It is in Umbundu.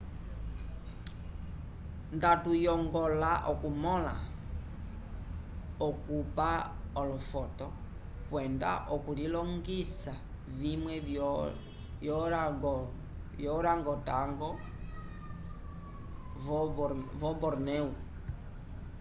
nda tuyongola okumõla okupa olofoto kwenda okulilongisa vimwe vyo orangotango vo bornéu